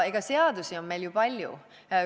Ja seadusi on meil ju palju.